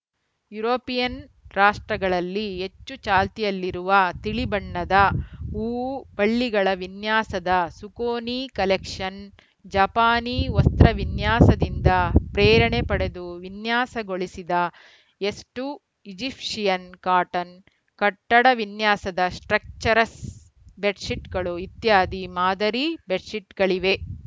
European ರಾಷ್ಟ್ರಗಳಲ್ಲಿ ಹೆಚ್ಚು ಚಾಲ್ತಿಯಲ್ಲಿರುವ ತಿಳಿ ಬಣ್ಣದ ಹೂವು ಬಳ್ಳಿಗಳ ವಿನ್ಯಾಸದ ಸುಕೋನಿ ಕಲೆಕ್ಷನ್‌ ಜಪಾನಿ ವಸ್ತ್ರವಿನ್ಯಾಸದಿಂದ ಪ್ರೇರಣೆ ಪಡೆದು ವಿನ್ಯಾಸಗೊಳಿಸಿದ ಎಸ್ಟು ಈಜಿಪ್ಶಿಯನ್‌ ಕಾಟನ್‌ ಕಟ್ಟಡ ವಿನ್ಯಾಸದ ಸ್ಟ್ರಕ್ಚರ್‍ಸ್ ಬೆಡ್‌ಶೀಟ್‌ಗಳು ಇತ್ಯಾದಿ ಮಾದರಿ ಬೆಡ್‌ಶೀಟ್‌ಗಳಿವೆ